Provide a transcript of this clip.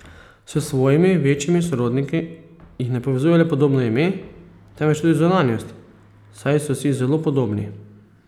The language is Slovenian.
S svojimi večjimi sorodniki jih ne povezuje le podobno ime, temveč tudi zunanjost, saj so si zelo podobni.